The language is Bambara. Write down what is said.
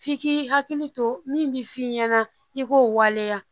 F'i k'i hakili to min bɛ f'i ɲɛna i k'o waleya